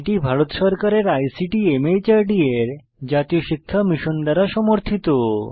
এটি ভারত সরকারের ICT MHRD এর জাতীয় শিক্ষা মিশন দ্বারা সমর্থিত